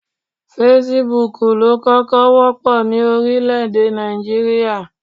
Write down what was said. Fesibúùkù ló kọ́kọ́ wọ́pọ̀ ní orílẹ̀-èdè Nàìjíríà